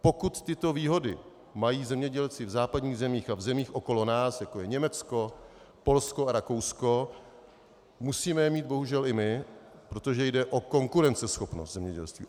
Pokud tyto výhody mají zemědělci v západních zemích a v zemích okolo nás, jako je Německo, Polsko a Rakousko, musíme je mít bohužel i my, protože jde o konkurenceschopnost zemědělství.